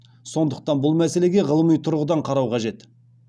сондықтан бұл мәселеге ғылыми тұрғыдан қарау қажет